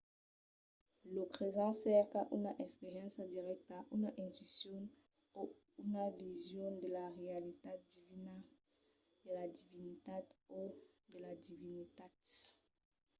lo cresent cerca una experiéncia dirècta una intuicion o una vision de la realitat divina/de la divinitat o de las divinitats